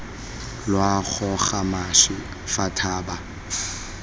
lwa goga mašwi fa thoba